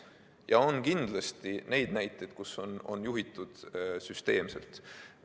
Ja on kindlasti neid näiteid, kus on juhitud süsteemselt.